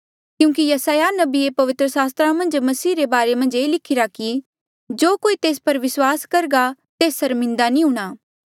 क्यूंकि यसायाह नबिये पवित्र सास्त्र मन्झ मसीह रे बारे मन्झ ये लिखिरा कि जो कोई तेस पर विस्वास करघा तेस सर्मिन्दा नी हूंणां